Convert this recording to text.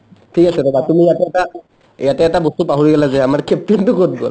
ঠিক আছে ৰ'বা তুমি ইয়াতে ইয়াতে এটা বস্তু পাহৰি গ'লা যে আমাৰ caption টো ক'ত গ'ল ?